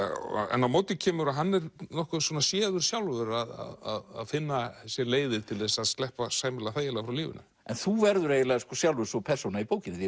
en á móti kemur að hann er nokkuð séður sjálfur að finna sér leiðir til að sleppa sæmilega þægilega frá lífinu en þú verður eiginlega svo sjálfur persóna í bókinni því